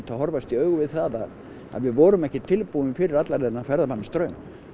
að horfast í augu við það að við vorum ekki tilbúin fyrir allan þennan ferðamannastraum